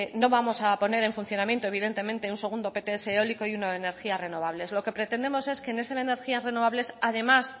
no vamos a poner en funcionamiento evidentemente un segundo pts eólico y uno de energías renovables lo que pretendemos es que en esas energías renovables además